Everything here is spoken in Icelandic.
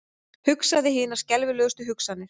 Hugsaði hinar skelfilegustu hugsanir.